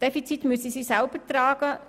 Defizite müssen sie selber tragen.